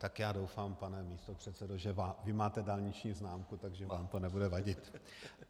Tak já doufám, pane místopředsedo, že vy máte dálniční známku, takže vám to nebude vadit.